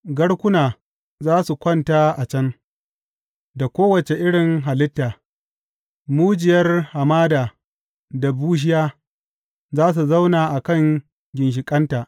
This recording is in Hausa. Garkuna za su kwanta a can, da kowace irin halitta, Mujiyar hamada da bushiya za su zauna a kan ginshiƙanta.